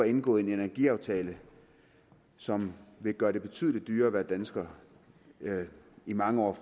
indgået en energiaftale som vil gøre det betydelig dyrere at være dansker i mange år